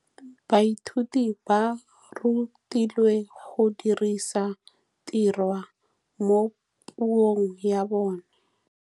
Baithuti ba rutilwe go dirisa tirwa mo puong ya bone.